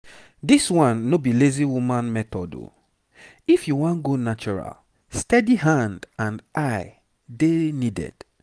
this one no be lazy woman method o. if you wan go natural steady hand and eye dey needed.